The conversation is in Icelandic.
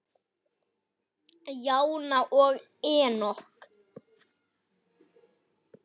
Jóna og Enok.